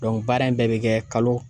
baara in bɛɛ bɛ kɛ kalo